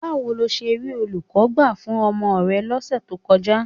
Báwo lo ṣe rí olùkọ́ gbà fún ọmọ rẹ lọ́sẹ̀ tó kọjá?